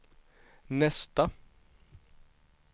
nästa